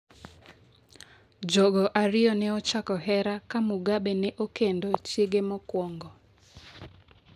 Jogo ariyo ne ochako hera ka Mugabe ne okendo chiege mokwongo.